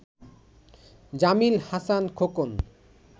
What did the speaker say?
Jamil Hasan Khokon